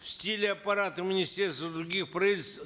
в стиле аппарата министерства и других правительств